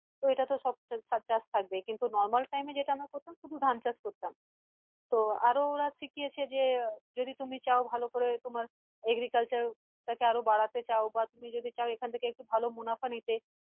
তো এটা তো সব চাষ থাকবেই কিন্তু normal time এ যেটা আমরা করতাম শুধু ধান চাষ করতাম তো আরো ওরা শিখিয়েছে যে যদি তুমি চাও ভালো করে তোমার agriculture টাকে আরও বাড়াতে চাও বা তুমি যদি চাও এখান থেকে একটু ভালো মুনাফা নিতে